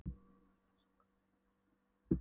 Hér er nú samankomið hið besta mannval í okkar landi.